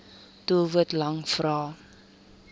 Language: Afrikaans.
doelwit lang vrae